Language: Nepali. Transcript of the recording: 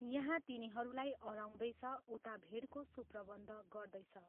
यहाँ तिनीहरूलाई अह्राउँदैछ उता भीडको सुप्रबन्ध गर्दैछ।